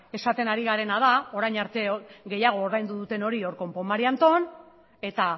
esaten ari garena da orain arte gehiago ordaindu duten hori hor konpon marianton eta